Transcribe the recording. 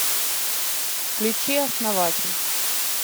включи основатель